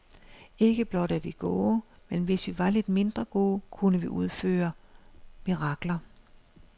Ikke blot er vi gode, men hvis vi var lidt mindre gode, kunne vi udføre mirakler.